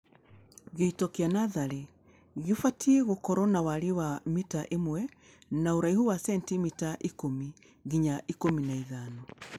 Gĩito kĩa natharĩ gĩbatie gũkorwo na warie wa mita imwe na ũraihu wa sentimita ikũmi nginya ikũmi na ithano